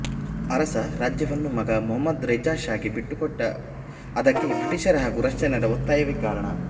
ಅರಸ ರಾಜ್ಯವನ್ನು ಮಗ ಮೊಹಮದ್ ರೇಜ್ಹಾ ಷಾಗೆ ಬಿಟ್ಟು ಕೊಟ್ಟ ಅದಕ್ಕೆ ಬ್ರಿಟಿಷರ ಹಾಗೂ ರಷ್ಯನ್ನರ ಒತ್ತಾಯವೇ ಕಾರಣ